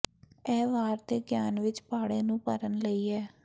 ਇਹ ਵਾਰ ਦੇ ਗਿਆਨ ਵਿੱਚ ਪਾੜੇ ਨੂੰ ਭਰਨ ਲਈ ਹੈ